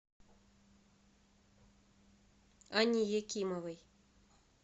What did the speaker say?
анне якимовой